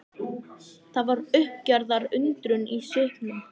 Það var uppgerðar undrun í svipnum.